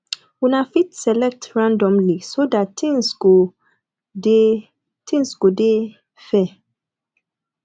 una fit select randomly so dat things go dey things go dey fair